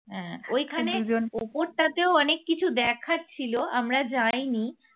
হ্যাঁ ওই খানে ওপরটাতেও অনেক কিছু দেখার ছিল আমরা যাইনি।